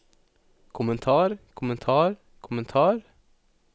kommentar kommentar kommentar